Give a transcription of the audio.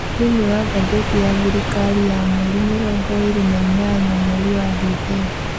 Thĩiniĩ wa ngatheti ya thĩrikari ya mweri mĩrongo ĩrĩ na inyanya mweri wa Dithemba.